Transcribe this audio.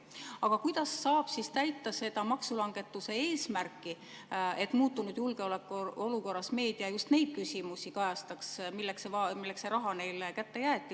Aga kuidas saab siis täita seda maksulangetuse eesmärki, et muutunud julgeolekuolukorras kajastaks meedia just neid küsimusi, milleks see raha neile kätte jäeti?